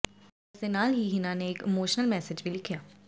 ਇਸ ਦੇ ਨਾਲ ਹੀ ਹਿਨਾ ਨੇ ਇੱਕ ਇਮੋਸ਼ਨਲ ਮੈਸੇਜ ਵੀ ਲਿਖਿਆ